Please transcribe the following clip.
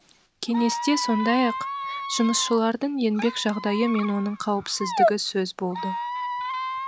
кеңесте сондай ақ жұмысшылардың еңбек жағдайы мен оның қауіпсіздігі сөз болды